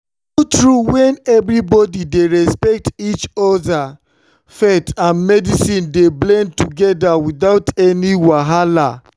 true-true when everybody dey respect each other faith and medicine dey blend together without any wahala.